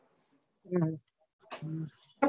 હમ